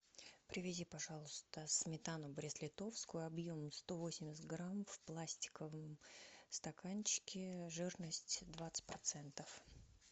привези пожалуйста сметану брест литовскую объем сто восемьдесят грамм в пластиковом стаканчике жирность двадцать процентов